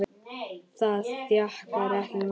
Það þjakaði ekki Magnús.